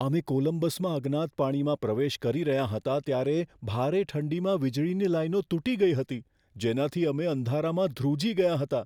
અમે કોલંબસમાં અજ્ઞાત પાણીમાં પ્રવેશ કરી રહ્યા હતા ત્યારે ભારે ઠંડીમાં વીજળીની લાઈનો તૂટી ગઈ હતી, જેનાથી અમે અંધારામાં ધ્રુજી ગયા હતા.